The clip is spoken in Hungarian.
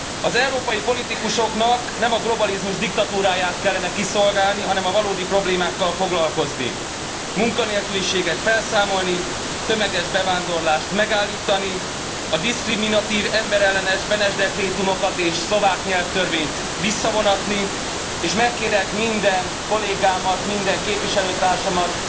Az európai politikusoknak nem a globalizmus diktatúráját kellene kiszolgálnia, hanem a valódi problémákkal foglalkozni munkanélküliséget felszámolni, tömeges bevándorlást megállítani, a diszkriminatív, emberellenes Benes dekrétumokat és szlovák nyelvtörvényt visszavonatni, és megkérem minden kollégámat, minden képviselőtársamat,